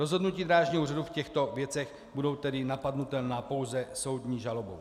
Rozhodnutí Drážního úřadu v těchto věcech budou tedy napadnutelná pouze soudní žalobou.